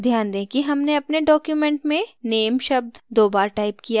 ध्यान दें कि हमने अपने document में name शब्द दो बार टाइप किया है